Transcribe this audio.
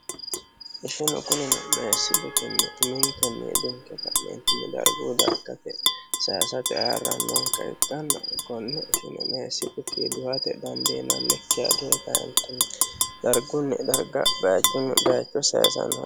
Ishinu kunnino meesi xukkini uminikinni hedonikenni ka'neteni darigunni dariggate saayisatte ayiranokeha ikkana konne ishine meesi xukkini duhatte danidinanikkiha dunikanitteni darigunni darigga bayichuni baayicho saayisano